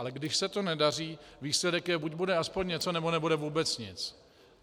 Ale když se to nedaří, výsledek je: buď bude aspoň něco, nebo bude vůbec nic.